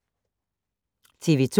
TV 2